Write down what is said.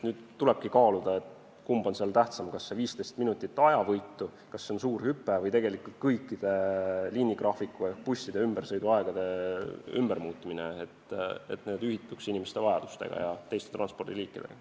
Nüüd tulebki kaaluda, kumb on seal tähtsam – kas see 15 minutit on suur ajavõit või tuleb sellepärast kogu liinigraafik ehk busside sõiduajad ümber muuta, et need sobituks inimeste vajaduste ja teiste transpordiliikidega.